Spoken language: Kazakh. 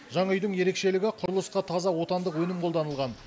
жаңа үйдің ерекшелігі құрылысқа таза отандық өнім қолданылған